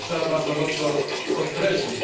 To też trzeba bardzo mocno podkreślić.